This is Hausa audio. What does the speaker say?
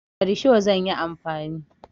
Da risho zan yi amfani.